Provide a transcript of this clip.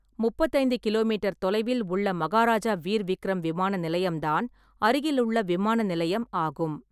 முப்பத்து ஐந்து kilometre தொலைவில் உள்ள மகாராஜா வீர் விக்ரம் விமான நிலையம்தான் அருகிலுள்ள விமான நிலையம் ஆகும்.